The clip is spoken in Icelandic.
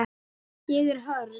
Ég er hörð.